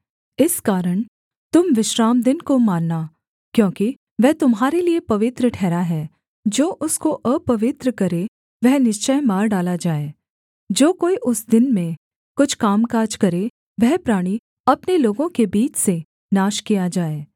इस कारण तुम विश्रामदिन को मानना क्योंकि वह तुम्हारे लिये पवित्र ठहरा है जो उसको अपवित्र करे वह निश्चय मार डाला जाए जो कोई उस दिन में कुछ कामकाज करे वह प्राणी अपने लोगों के बीच से नाश किया जाए